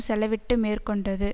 செலவிட்டு மேற்கொண்டது